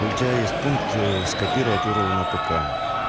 у тебя есть пункт скопировать урл на пк